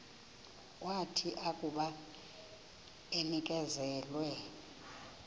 wathi akuba enikezelwe